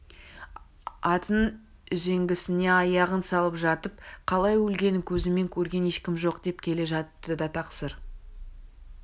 атының үзеңгісіне аяғын салып жатып қалай өлгенін көзімен көрген ешкім жоқ деп келе жатты да тақсыр